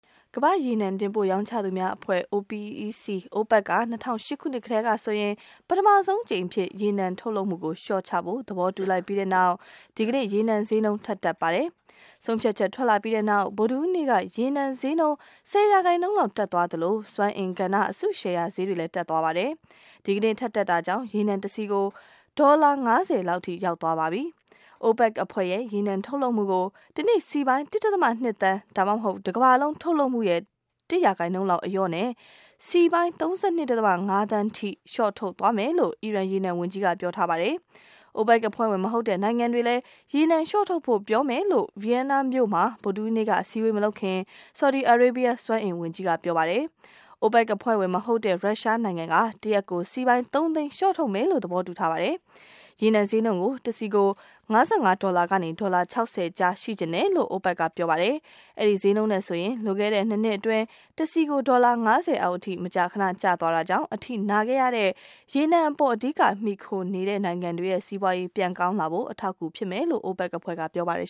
ကမ္ဘာ့ရေနံတင်ပို့ရောင်းချသူများအဖွဲ့ OPEC က ၂၀၀၈ ခုနှစ်ကတည်းကနေဆိုရင် ပထမဆုံးအကြိမ်အဖြစ် ရေနံထုတ်လုပ်မှုှုကို လျှော့ချဖို့ သဘောတူလိုက်ပြီးတဲ့နောက် ဒီကနေ့ ရေနံဈေးနှုန်း ထပ်တက်ပါတယ်။ ဆုံးဖြတ်ချက်ထွက်လာပြီးတဲ့နောက် ဗုဒ္ဓဟူးနေ့က ရေနံဈေးနှုန်း ၁၀% လောက်တက်သွားသလို စွမ်းအင်ကဏ္ဍ အစုရှယ်ယာ ဈေး တွေလည်း တက်သွားပါတယ်။ ဒီကနေ့ ထပ်တက်တာကြောင့် ရေနံတစည်ကို ဒေါ်လာ ၅၀ လောက်ထိ ရောက်သွားပါပြီ။ OPEC အဖွဲ့ရဲ့ ရေနံထုတ်လုပ်မှုကို တနေ့ စည်ပေါင်း ၁.၂ သန်း ဒါမှမဟုတ် တကမ္ဘာလုံးထုတ်လုပ်မှုရဲ့ ၁% လောက်အလျော့နဲ့ စည်ပေါင်း ၃၂.၅ သန်းထိ လျှော့ထုတ်သွားမယ်လို့ အီရန် ရေနံဝန်ကြီးက ပြောထားပါတယ်။ OPEC အဖွဲ့ဝင်မဟုတ်တဲ့ နိုင်ငံတွေလည်း ရေနံလျှော့ထုတ်ဖို့ ပြောမယ်လို့ ဗီယန်နာမြို့မှာ ဗုဒ္ဓဟူးနေ့က အစည်းအဝေးမလုပ်ခင် ဆော်ဒီ အာရေးဘီးယား စွမ်းအင်ဝန်ကြီးကပြောပါတယ်။ OPEC အဖွဲ့ဝင်မဟုတ်တဲ့ ရုရှားနိုင်ငံက တရက်ကို စည်ပေါင်း ၃ သိန်း လျှော့ထုတ်မယ်လို့ သဘောတူထားပါတယ်။ ရေနံဈေးနှုန်းကို တစည် ၅၅ ဒေါ်လာကနေ ဒေါ်လာ ၆၀ ကြား ရှိချင်တယ်လို့ OPEC က ပြောပါတယ်။ အဲဒီဈေးနှုန်းနဲ့ဆိုရင် လွန်ခဲ့ တဲ့နှစ်နှစ်အတွင်း တစည်ကို ဒေါ်လာ ၅၀ အောက်အထိ မကြာခန ကျသွားတာကြောင့် အထိနာခဲ့ရတဲ့ ရေနံပေါ် အဓိကမှီခိုနေရ တဲ့နိုင်ငံတွေ စီးပွားရေးပြန်ကောင်းလာဖို့ အထောက်အကူဖြစ်မယ်လို့ OPEC အဖွဲ့ကပြောပါတယ်